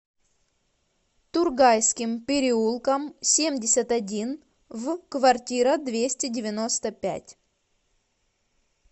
тургайским переулком семьдесят один в квартира двести девяносто пять